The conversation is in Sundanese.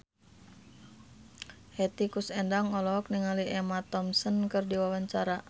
Hetty Koes Endang olohok ningali Emma Thompson keur diwawancara